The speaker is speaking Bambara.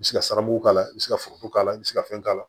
I bɛ se ka siramu k'a la i bɛ se ka foro k'a la i bɛ se ka fɛn k'a la